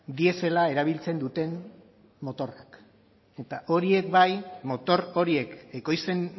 diesela erabiltzen duten motorrak eta horiek bai motor horiek ekoizten